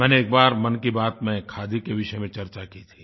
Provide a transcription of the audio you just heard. मैंने एक बार मन की बात में खादी के विषय में चर्चा की थी